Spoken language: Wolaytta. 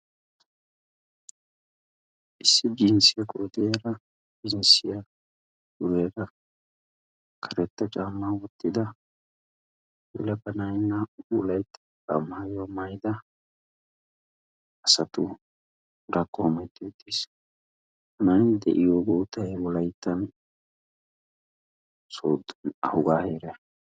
issi jinssiya ahho kamee biyonne yiyyo iogee des. ha kaame biyonne yiyo ogiyan dozati tokettidosona, ha dozati kaamiyawukka asawukka dumma dumma kuwaa imees.